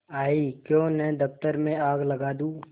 आयीक्यों न दफ्तर में आग लगा दूँ